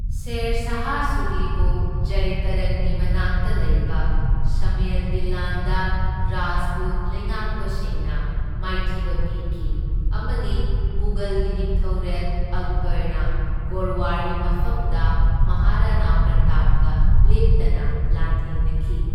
ꯁꯦꯔ ꯁꯥꯍ ꯁꯨꯔꯤꯕꯨ ꯖꯦꯏꯇꯥꯔꯟꯒꯤ ꯃꯅꯥꯛꯇ ꯂꯩꯕ ꯁꯝꯃꯦꯜꯒꯤ ꯂꯥꯟꯗ ꯔꯥꯖꯄꯨꯠ ꯂꯩꯉꯥꯛꯄꯁꯤꯡꯅ ꯃꯥꯏꯊꯤꯕ ꯄꯤꯈꯤ, ꯑꯃꯗꯤ ꯃꯨꯘꯜꯒꯤ ꯅꯤꯡꯊꯧꯔꯦꯜ ꯑꯛꯕꯔꯅ ꯒꯣꯔꯋꯥꯔꯒꯤ ꯃꯐꯝꯗ ꯃꯍꯥꯔꯥꯅꯥ ꯄ꯭ꯔꯇꯥꯞꯀ ꯂꯦꯞꯇꯅ ꯂꯥꯟꯊꯦꯡꯅꯈꯤ꯫